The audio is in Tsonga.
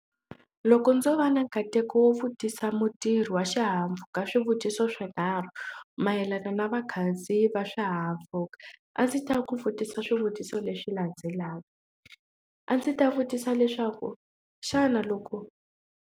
Loko ndzo va na nkateko wo vutisa mutirhi wa swihahampfhuka swivutiso swinharhu mayelana na vakhandziyi va swihahampfhuka a ndzi ta ku vutisa swivutiso leswi landzelaka a ndzi ta vutisa leswaku xana loko.